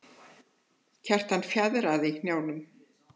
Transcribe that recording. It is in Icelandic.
Kjartan fjaðrar í hnjánum.